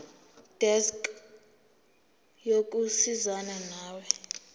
desk yokusizana nawe